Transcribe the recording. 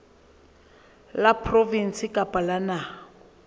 la provinse kapa la naha